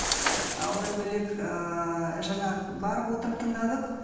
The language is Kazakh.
ы одан бөлек ыыы жаңа барып отырып тыңдадық